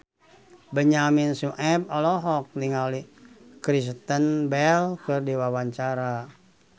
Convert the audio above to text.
Benyamin Sueb olohok ningali Kristen Bell keur diwawancara